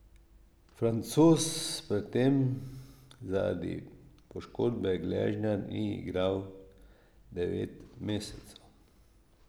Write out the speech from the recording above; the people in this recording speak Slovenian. Francoz pred tem zaradi poškodbe gležnja ni igral devet mesecev.